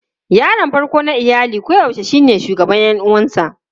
Yaron farko na iyali koyaushe shine shugaban ƴan uwansa.